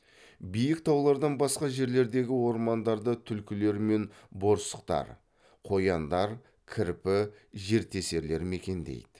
биік таулардан басқа жерлердегі ормандарды түлкілер мен борсықтар қояндар кірпі жертесерлер мекендейді